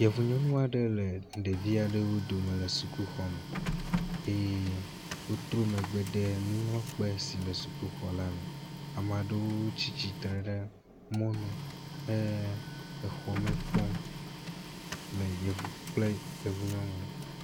Yevu nyɔnu aɖe le ɖevi aɖewo dome le sukuxɔme eye wotro megbe de nuŋlɔkpe si le sukuxɔ la me ame aɖewo tsi tsitre ɖe mɔnu he exɔ me kpɔm le kple yevu nyɔnu.